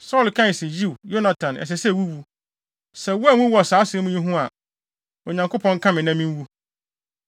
Saulo kae se, “Yiw, Yonatan, ɛsɛ sɛ wuwu. Sɛ woanwu wɔ saa asɛm yi ho a, Onyankopɔn nka me na minwu.”